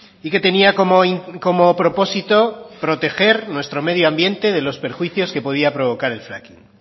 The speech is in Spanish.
y que tenía como propósito proteger nuestro medioambiente de los perjuicios que podía provocar el fracking